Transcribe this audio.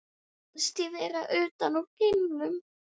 Mér fannst ég vera utan úr geimnum.